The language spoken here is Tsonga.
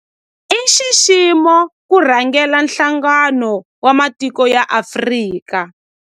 I nxiximo ku rhangela Nhlangano wa Matiko ya Afrika.